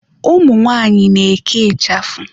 Umu nwanyị na-eke ịchafụ.